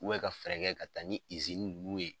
ka fɛɛrɛ kɛ ka taa ni nunnu ye